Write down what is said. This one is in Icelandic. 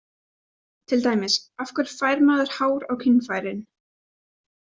Til dæmis: Af hverju fær maður hár á kynfærin?